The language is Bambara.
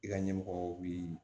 I ka ɲɛmɔgɔw bi